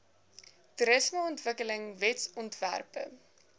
toerismeontwikkelingwetsontwerpe